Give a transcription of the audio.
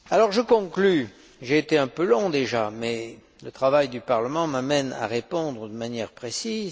Je conclus. J'ai été un peu long déjà, mais le travail du Parlement m'amène à lui répondre de manière précise.